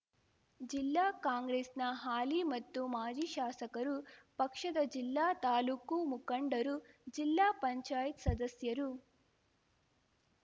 ಜಿಲ್ಲಾ ಕಾಂಗ್ರೆಸ್‍ನ ಹಾಲಿ ಮತ್ತು ಮಾಜಿ ಶಾಸಕರು ಪಕ್ಷದ ಜಿಲ್ಲಾ ತಾಲ್ಲೂಕು ಮುಖಂಡರು ಜಿಲ್ಲಾಪಂಚಾಯತ್ ಸದಸ್ಯರು